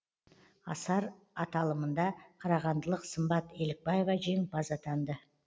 асар аталымында қарағандылық сымбат елікбаева жеңімпаз атанды